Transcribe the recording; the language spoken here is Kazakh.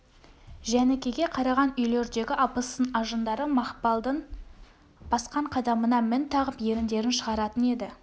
жәнікеге қараған үйлердегі абысын-ажындары мақпалдың басқан қадамына мін тағып еріндерін шығаратын еді